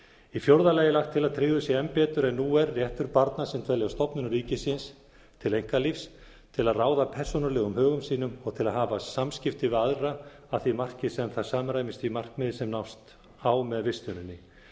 í fjórða lagi er lagt til að tryggður sé enn betur en nú er réttur barna sem dvelja á stofnunum ríkisins til einkalífs til að ráða persónulegum högum sínum og til að hafa samskipti við aðra að því marki sem það samræmist því markmiði sem nást á með vistuninni